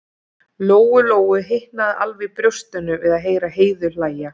Lóu Lóu hitnaði alveg í brjóstinu við að heyra Heiðu hlæja.